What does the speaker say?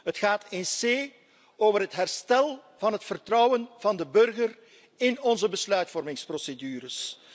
Het gaat in wezen over het herstel van het vertrouwen van de burger in onze besluitvormingsprocedures.